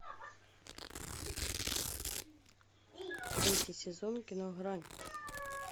третий сезон кино грань